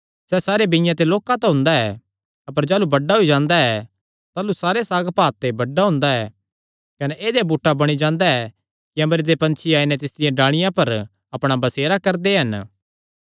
सैह़ सारे बीआं ते लोक्का तां हुंदा ऐ अपर जाह़लू बड्डा होई जांदा ऐ ताह़लू सारे साग पात ते बड्डा हुंदा ऐ कने देहया बूटा बणी जांदा कि अम्बरे दे पंछी आई नैं तिसदियां डाल़िआं पर अपणा बसेरा करदे हन